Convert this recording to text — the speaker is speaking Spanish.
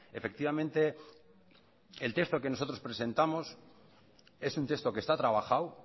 efectivamente el texto que nosotros presentamos es un texto que está trabajado